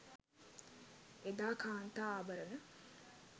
එදා කාන්තා ආභරණ